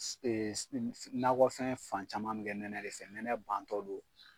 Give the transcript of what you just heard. nakɔfɛn fan caman min nɛnɛ de fɛ, nɛnɛ bantɔ don.